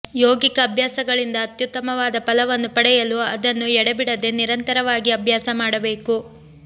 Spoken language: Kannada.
ಯೋಗಿಕ ಅಭ್ಯಾಸಗಳಿಂದ ಅತ್ಯುತ್ತಮವಾದ ಫಲವನ್ನು ಪಡೆಯಲು ಅದನ್ನು ಎಡೆಬಿಡದೆ ನಿರಂತರವಾಗಿ ಅಭ್ಯಾಸ ಮಾಡಬೇಕು